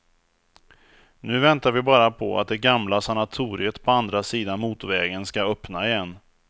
Nu väntar vi bara på att det gamla sanatoriet på andra sidan motorvägen ska öppna igen.